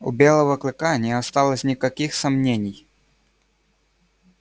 у белого клыка не осталось никаких сомнений